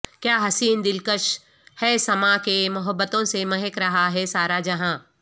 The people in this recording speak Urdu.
کیا حسین دلکش ہے سما کہ محبتوں سے مہک رہا ہے سارا جہاں